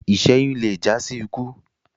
iṣẹyun lẹ já sí ikú